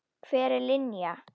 Hver er Linja?